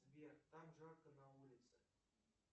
сбер как жарко на улице